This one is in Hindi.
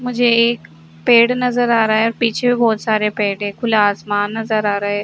मुझे एक पेड़ नजर आ रहा पीछे बोहोत सारे पेड़ है खुला आसमान नजर आ रहा है।